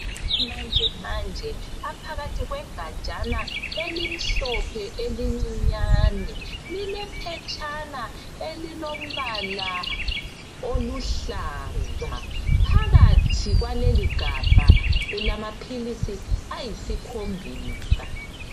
Isimanjemanje aphakathi kwegajana elimhlophe elicinyane lilephetshana elilombala oluhlaza phakathi kwalelogabha kulamaphilisi ayisikhombisa.